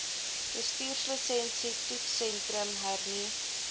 bestuurslisensie toetssentrum hernu